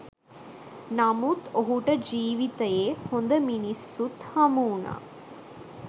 නමුත් ඔහුට ජීවිතයේ හොඳ මිනිස්සුත් හමුවුණා.